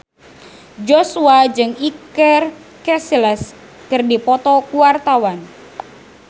Joshua jeung Iker Casillas keur dipoto ku wartawan